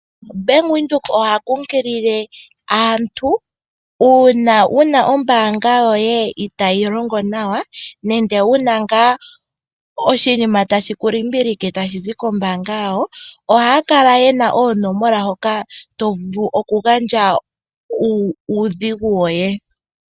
Bank Windhoek oha kunkilie aantu, uuna wuna oombanga yoye itayi longo nawa nenge wuna nga oshinima tashiku limbilike, tashi zi koombanga yawo, ohaya kala yena oonomola hoka to vulu oku gandja uudhigu woye.